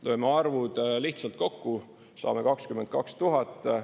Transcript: Lööme arvud lihtsalt kokku, saame 22 000.